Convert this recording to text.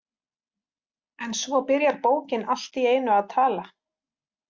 En svo byrjar bókin allt í einu að tala.